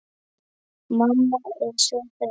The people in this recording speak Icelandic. Mamma er svo þreytt.